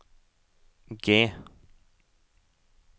G